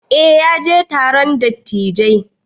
Eh ya je taron dattijai.